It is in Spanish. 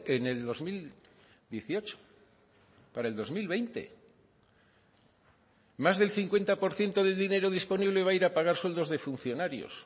en el dos mil dieciocho para el dos mil veinte más del cincuenta por ciento del dinero disponible va a ir a pagar sueldos de funcionarios